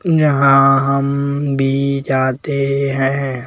यहाँ हम भी जाते हैं।